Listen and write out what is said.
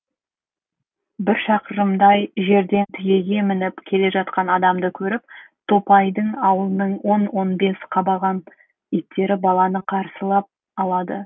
бір шақырымдай жерден түйеге мініп келе жатқан адамды көріп топайдың аулының он он бес қабаған иттері баланы қарсылап алады